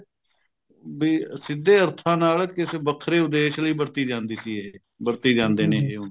ਵੀ ਸਿੱਧੇ ਅਰਥਾਂ ਨਾਲ ਕਿਸੇ ਵੱਖਰੇ ਉਦੇਸ਼ ਲਈ ਵਰਤੀ ਜਾਂਦੀ ਸੀ ਇਹ ਵਰਤੇ ਜਾਂਦੇ ਨੇ ਇਹ